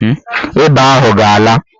Ịba ahụ ga-ala.